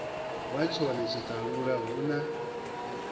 wa tshone tshiṱalula hu na